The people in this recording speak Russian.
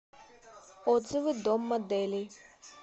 отзывы дом моделей